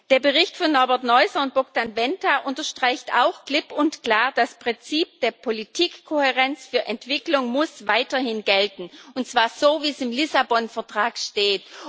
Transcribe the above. Der Bericht von Norbert Neuser und Bogdan Wenta unterstreicht auch klipp und klar Das Prinzip der Politikkohärenz für Entwicklung muss weiterhin gelten, und zwar so, wie es im Lissabon Vertrag steht.